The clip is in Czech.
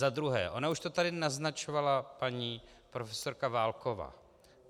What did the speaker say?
Za druhé, ona už to tady naznačovala paní profesorka Válková.